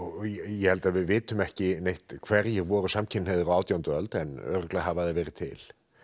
ég held við vitum ekki hverjir voru samkynhneigðir á átjándu öld en örugglega hafa þeir verið til